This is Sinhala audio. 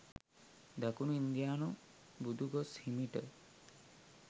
දකුණු ඉන්දියානු බුදුගොස් හිමිට